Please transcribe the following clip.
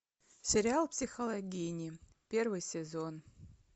сериал психологини первый сезон